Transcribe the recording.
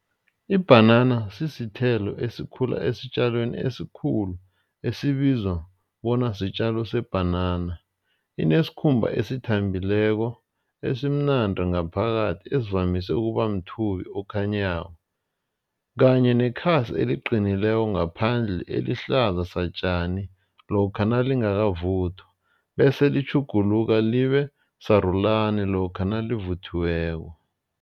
Ibhanana sisithelo esikhula esitjalweni esikhulu esibizwa bona sitjalo sebhanana. Inesikhumba esithambileko esimnandi ngaphakathi esivamise ukuba mthubi okhanyako kanye nekhasi eliqinileko ngaphandle elihlaza satjani. Lokha nalingakavuthwa bese litjhuguluka libe sarulani lokha nalivuthiweko.